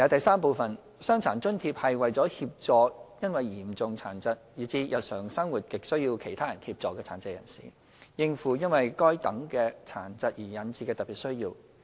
三"傷殘津貼"是為協助因嚴重殘疾，以致日常生活亟需他人協助的殘疾人士，應付因該等殘疾而引致的特別需要。